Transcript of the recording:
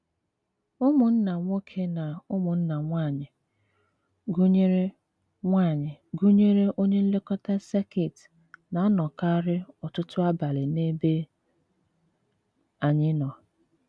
Ụmụnna nwoke na ụmụnna nwaanyị, gụnyere nwaanyị, gụnyere onye nlekọta sekit na-anọkarị ọtụtụ abalị n’ebe anyị nọ.